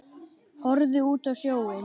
Horfði út á sjóinn.